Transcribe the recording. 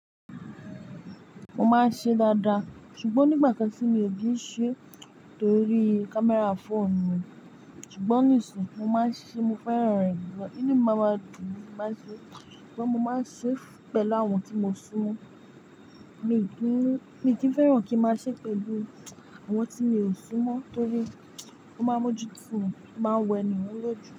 Mo máa ń ṣe dáadáa ṣùgbọ́n o nígbà kan tí mi ò kí n ṣe torí camera phone mi. Ṣùgbọ́n níisin mo máa ń ṣe, mo fẹ́ràn rẹ̀ gan. Ínu mi máa ma dùn ni máa n ṣe. Ṣùgbọ́n mo máa ń ṣe pẹ̀lú àwọn tí mo sún mọ́. Mii n kí ń, mi n kí ń fẹ́ràn kí n máa ṣe pẹ̀lú àwọn tí mi ò sún mọ́ torí ó máa mójú fún mi, ó máa wẹ ènìhun lójú.